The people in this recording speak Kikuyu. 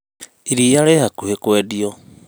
iria rĩhakuhĩ kwendio